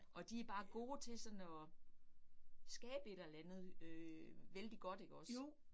Og de bare gode til sådan at skabe et eller andet øh vældig godt ikke også